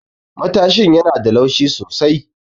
Matashin yana da laushi sosai.